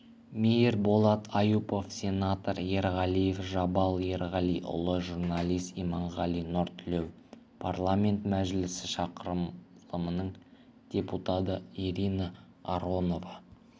мейірболат аюпов сенатор ерғалиев жабал ерғалиұлы журналист иманғали нұртілеу парламент мәжілісі шақырылымының депутаты ирина аронова